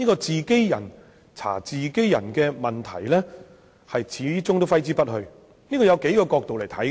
"自己人查自己人"的質疑始終揮之不去，這可從多個角度作出闡述。